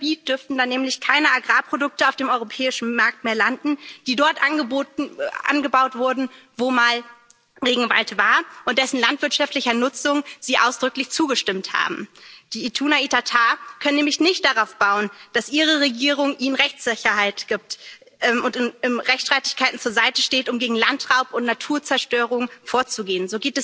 Von ihrem Gebiet dürften dann nämlich keine Agrarprodukte mehr auf dem europäischen Markt landen, die dort angebaut wurden, wo mal Regenwald war und dessen landwirtschaftlicher Nutzung sie nicht ausdrücklich zugestimmt haben. Die Ituna Itatá können nämlich nicht darauf bauen, dass ihre Regierung ihnen Rechtssicherheit gibt und in Rechtsstreitigkeiten zur Seite steht, um gegen Landraub und Naturzerstörung vorzugehen.